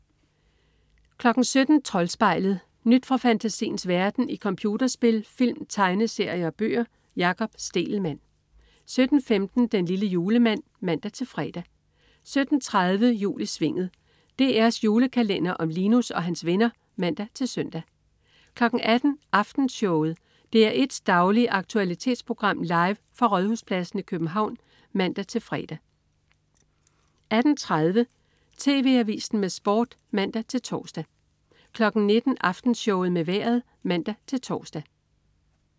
17.00 Troldspejlet. Nyt fra fantasiens verden i computerspil, film, tegneserier og bøger. Jakob Stegelmann 17.15 Den lille julemand (man-fre) 17.30 Jul i Svinget. DR's julekalender om Linus og hans venner (man-søn) 18.00 Aftenshowet. DR1's daglige aktualitetsprogram, live fra Rådhuspladsen i København (man-fre) 18.30 TV Avisen med Sport (man-tors) 19.00 Aftenshowet med Vejret (man-tors)